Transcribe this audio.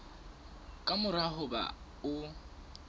ka mora ho ba o